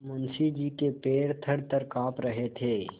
मुंशी जी के पैर थरथर कॉँप रहे थे